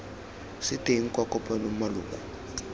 se teng kwa kopanong maloko